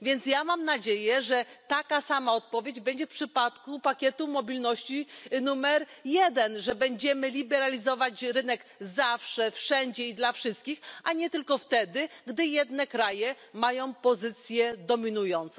Więc ja mam nadzieję, że taka sama odpowiedź będzie w przypadku pakietu mobilności numer jeden, że będziemy liberalizować rynek zawsze wszędzie i dla wszystkich, a nie tylko wtedy, gdy jedne kraje mają pozycję dominującą.